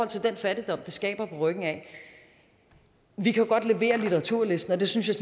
til den fattigdom det skaber på ryggen af at vi jo godt kan levere litteraturlisten og det synes jeg